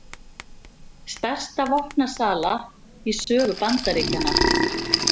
Stærsta vopnasala í sögu Bandaríkjanna